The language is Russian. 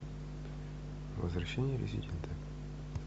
возвращение резидента